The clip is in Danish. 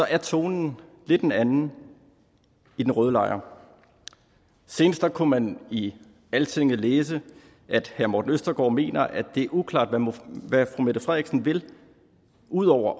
er tonen lidt en anden i den røde lejr senest kunne man i altinget læse at herre morten østergaard mener at det er uklart hvad fru mette frederiksen vil ud over